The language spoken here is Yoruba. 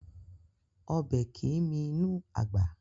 Ọbẹ̀ kìí mì inú àgbà